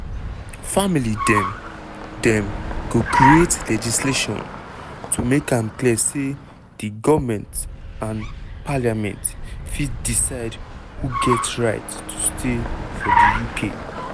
family dem dem go create legislation to make am clear say na di goment and parliament fit decide who get right to stay for di uk.